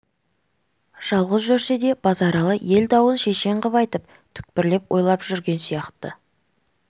жалғыз жүрсе де базаралы ел дауын шешен қып айтып түкпірлеп ойлап жүрген сияқты